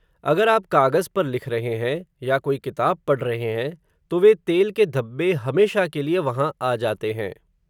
अगर आप कागज़ पर लिख रहे हैं, या कोई किताब पढ़ रहे हैं, तो वे तेल के धब्बे, हमेशा के लिए वहां आ जाते हैं